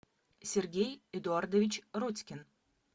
сергей эдуардович родькин